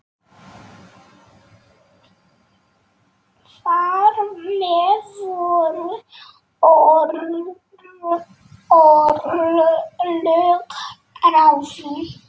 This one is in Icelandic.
Þar með voru örlög ráðin.